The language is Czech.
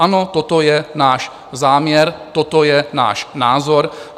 Ano, toto je náš záměr, toto je náš názor.